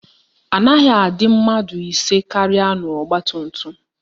Anaghị adị mmadụ ise karịa n'ọgbatumtum